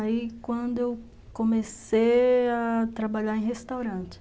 Aí, quando eu comecei a trabalhar em restaurante.